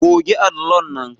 Goge allon nan